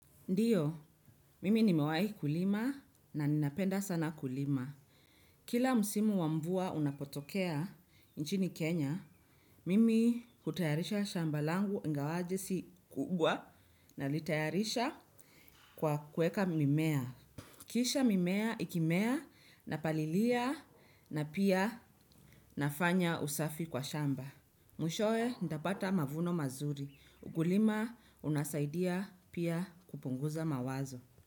Ndiyo mimi nimewai kulima na napenda sana kulima. Kila musimu wa mvua unapotokea nchini Kenya, mimi hutayarisha shamba langu ngawaje si kubwa nalitayarisha kwa kueka mimea. Kisha mimea ikimea napalilia na pia nafanya usafi kwa shamba. Mwishoe, ndapata mavuno mazuri. Ukulima unasaidia pia kupunguza mawazo.